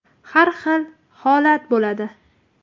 Har xil holat bo‘ladi.